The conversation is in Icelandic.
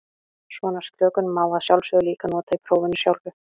Svona slökun má að sjálfsögðu líka nota í prófinu sjálfu.